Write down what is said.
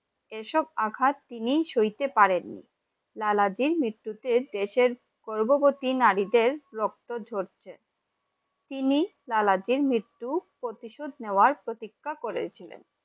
এই এসব আঘাত তিনি সইতে পারেন নি লালাজির মৃত্যুতে দেশের গর্ভবতী নারীদের রক্ত ঝরছে। তিনি সালাদিন মৃত্যুর প্রতিশোধ নেওয়ার প্রতিজ্ঞা করেছিলেন